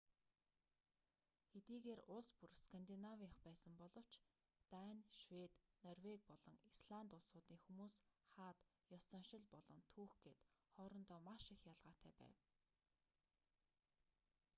хэдийгээр улс бүр скандинавынх байсан боловч дани швед норвеги болон исланд улсуудын хүмүүс хаад ёс заншил болон түүх гээд хоорондоо маш их ялгаатай байв